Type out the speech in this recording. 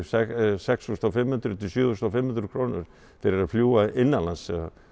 sex þúsund og fimm hundruð til sjö þúsund og fimm hundruð krónur fyrir að fljúga innanlands